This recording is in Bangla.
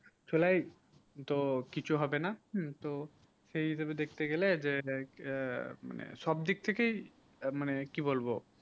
চলেই কিছু হবে না তো সেই হিসাবে দেখতে গেলে মানে সব দিক থেকেই মানে কি বলবো